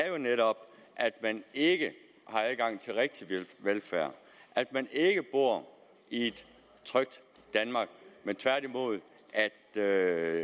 jo netop at man ikke har adgang til rigtig velfærd at man ikke bor i et trygt danmark men tværtimod at